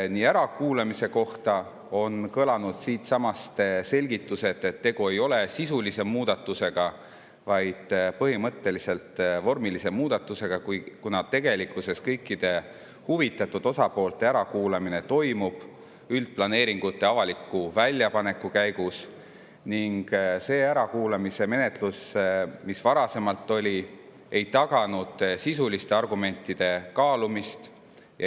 Ärakuulamise kohta on kõlanud siinsamas selgitused, et tegu ei ole sisulise muudatusega, vaid põhimõtteliselt vormilise muudatusega, kuna tegelikkuses kõikide huvitatud osapoolte ärakuulamine toimub üldplaneeringute avaliku väljapaneku käigus ning see ärakuulamismenetlus, mis varasemalt oli, ei taganud sisuliste argumentide kaalumist.